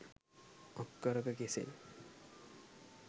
අක්කරක කෙසෙල්